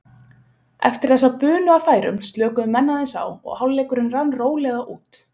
Eftir þessa bunu af færum slökuðu menn aðeins á og hálfleikurinn rann rólega út.